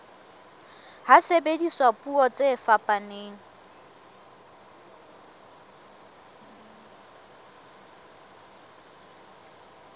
ha sebediswa puo tse fetang